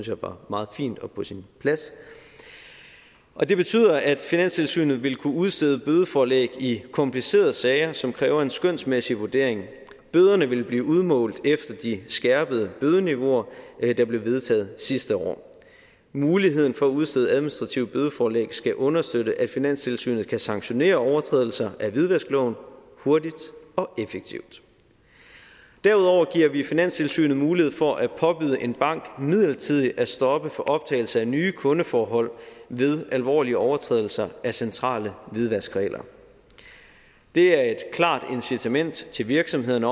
jeg var meget fint og på sin plads og det betyder at finanstilsynet vil kunne udstede bødeforelæg i komplicerede sager som kræver en skønsmæssig vurdering bøderne vil blive udmålt efter de skærpede bødeniveauer der blev vedtaget sidste år muligheden for at udstede administrative bødeforlæg skal understøtte at finanstilsynet kan sanktionere overtrædelser af hvidvaskloven hurtigt og effektivt derudover giver vi finanstilsynet mulighed for at påbyde en bank midlertidigt at stoppe for optagelse af nye kundeforhold ved alvorlige overtrædelser af centrale hvidvaskregler det er et klart incitament til virksomhederne